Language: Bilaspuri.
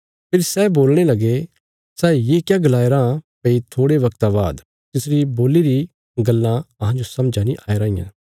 फेरी सै बोलणे लगे सै ये क्या गलाया राँ भई थोड़े बगता बाद तिसरी बोल्ली री गल्लां अहांजो समझा नीं आया र दियां